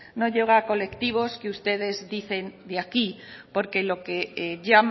no llega a colectivos que ustedes dicen de aquí porque